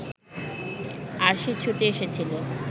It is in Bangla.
আরশি ছুটে এসেছিল